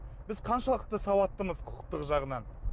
біз қаншалықты сауаттымыз құқықтық жағынан